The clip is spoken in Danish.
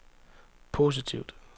positivt